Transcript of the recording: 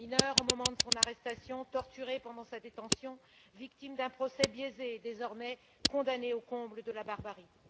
Mineur au moment de son arrestation, torturé pendant sa détention, victime d'un procès biaisé, désormais condamné au comble de la barbarie.